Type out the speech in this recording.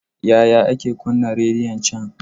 Yaya ake kunna rediyon can?